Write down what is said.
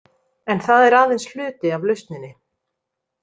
En það er aðeins hluti af lausninni.